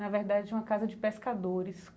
Na verdade, é uma casa de pescadores.